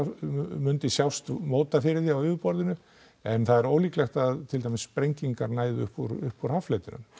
myndi sjást móta fyrir því á yfirborðinu en það er ólíklegt að til dæmis sprengingar næðu uppúr uppúr haffletinum